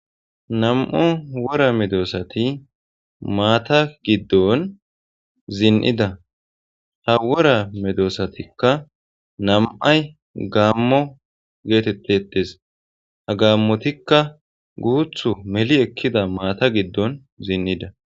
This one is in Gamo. nam7o wora medosati maata giddon zin7ida ha wora medoossatikka nam7ay gaammo geetettetes ha gaammotikka guuthu meli ekkida maata giddon zin7ida